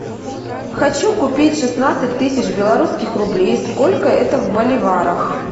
хочу купить шестнадцать тысяч белорусских рублей сколько это в боливарах